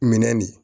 Minɛ nin